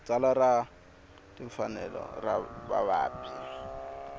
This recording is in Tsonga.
tsalwa ra timfanelo ta vavabyi